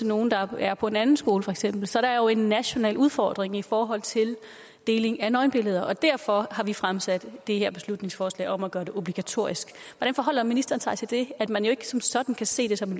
nogle der er på en anden skole for eksempel så der er jo en national udfordring i forhold til deling af nøgenbilleder og derfor har vi fremsat det her beslutningsforslag om at gøre det obligatorisk hvordan forholder ministeren sig til det at man jo ikke som sådan kan se det som